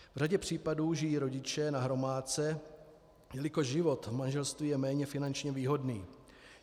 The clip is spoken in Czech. V řadě případů žijí rodiče na hromádce, jelikož život v manželství je méně finančně výhodný.